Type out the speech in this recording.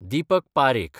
Deepak Parekh